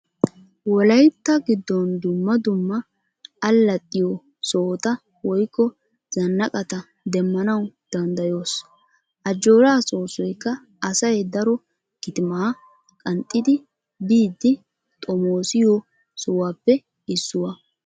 Wolaytta giddon dumma dumma allaxxiyo sohota woykko zannaqqata demmanawu danddayoos. Ajjooraa soossoykka asay daro kitimaa qanxxidi biidi xomoosiyo sohuwappe issuwa.